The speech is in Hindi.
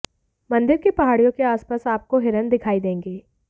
मंदिर की पहाड़ियों के आसपास आपको हिरण दिखाई देंगे